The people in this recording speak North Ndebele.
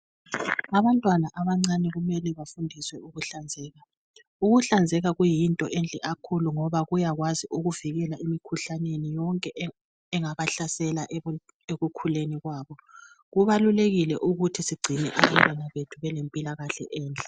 Abantwana abancane kumele bafundiswe ukuhlanzeka. Ukuhlanzeka kuyinto enhle kakhulu ngoba kuyakwazi ukubavikela emikhuhlaneni yonke engabahlasela ekukhuleni kwabo. Kubalulekile ukuthi sigcine abantwana belempilakahle enhle.